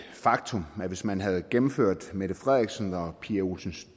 faktum at hvis man havde gennemført mette frederiksens og pia olsen